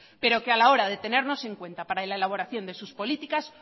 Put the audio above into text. pero que a la hora de tenernos en cuenta para la elaboración de sus políticas